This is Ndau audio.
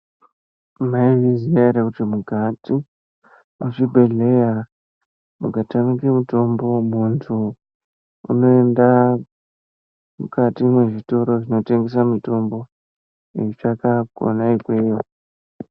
Maizviziya here kuti mukati mezvibhedhlera mukatamike mutombo, muntu unoenda mukati mezvitoro zvinotengesa mitombo eitsvaka kwena ikweyo.